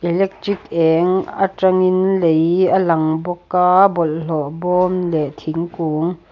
electric eng atangin lei a lang bawk a bawlhlawh bawm leh thingkung--